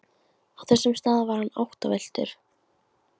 Á þessum stað var hann áttavilltur.